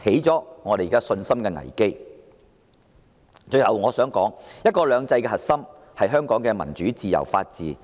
最後，我想說"一國兩制"的核心是香港的民主、自由及法治。